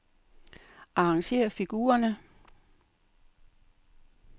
Arrangér figurerne.